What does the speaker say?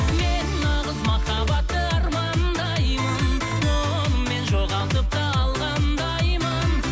мен нағыз махаббатты армандаймын оны мен жоғалтып та алғандаймын